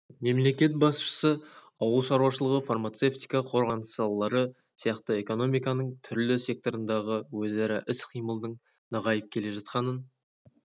мемлекет басшысы ауыл шаруашылығы фармацевтика қорғаныс салалары сияқты экономиканың түрлі секторындағы өзара іс-қимылдың нығайып келе жатқанын